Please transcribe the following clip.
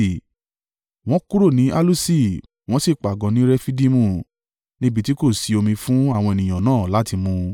Wọ́n kúrò ní Aluṣi wọ́n sì pàgọ́ ní Refidimu níbi tí kò sí omi fún àwọn ènìyàn náà láti mu.